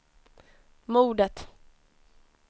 mordet